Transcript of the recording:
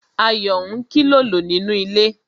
Ayo ń kilolo nínú ilé